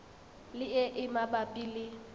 le e e mabapi le